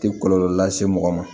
Tɛ kɔlɔlɔ lase mɔgɔ ma